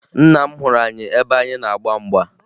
Nna m hụrụ anyị ebe anyị na-agba mgba